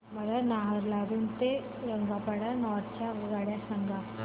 मला नाहरलागुन ते रंगपारा नॉर्थ च्या आगगाड्या सांगा